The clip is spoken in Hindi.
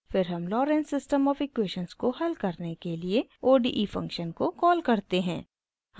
फिर हम lorenz system of equations को हल करने के लिए ode फंक्शन को कॉल करते हैं